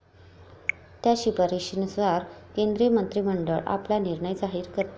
त्या शिफारसींनुसार केंद्रीय मंत्रिमंडळ आपला निर्णय जाहीर करते.